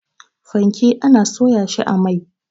Fanke ana soya shi a mai.